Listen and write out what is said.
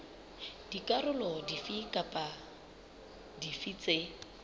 dikarolo dife kapa dife tse